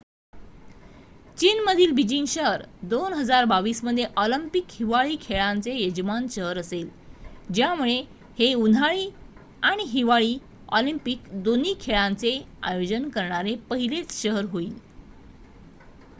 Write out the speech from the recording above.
चीनमधील बीजिंग शहर 2022 मध्ये ऑलिम्पिक हिवाळी खेळांचे यजमान शहर असेल ज्यामुळे हे उन्हाळी आणि हिवाळी ऑलिंपिक दोन्ही खेळांचे आयोजन करणारे पहिलेच शहर होईल